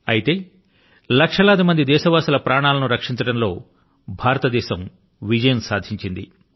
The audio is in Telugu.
అయితే లక్షలాది దేశవాసుల ప్రాణాల ను రక్షించడం లో భారతదేశం విజయం సాధించింది